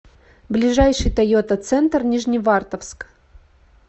ближайший тойота центр нижневартовск